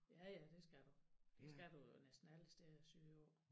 Ja ja det skal du det skal du jo næsten alle steder sydpå